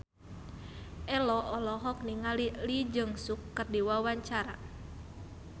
Ello olohok ningali Lee Jeong Suk keur diwawancara